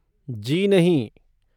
जी नहीं।